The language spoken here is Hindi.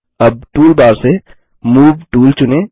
अब टूलबार से मूव टूल चुनें